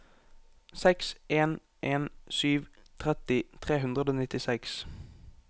seks en en sju tretti tre hundre og nittiseks